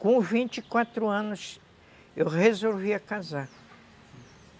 Com vinte e quatro anos, eu resolvia casar.